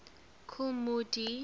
kool moe dee